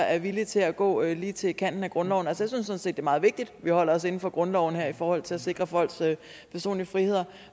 er villig til at gå lige til kanten af grundloven at jeg synes det er meget vigtigt at vi holder os inden for grundloven her i forhold til at sikre folks personlige frihed